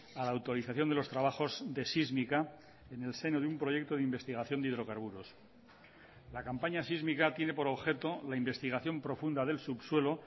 a la autorización de los trabajos de sísmica en el seno de un proyecto de investigación de hidrocarburos la campaña sísmica tiene por objeto la investigación profunda del subsuelo